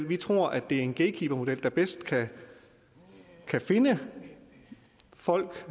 vi tror at det er en gatekeepermodel der bedst kan finde de folk